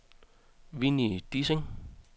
Winnie Dissing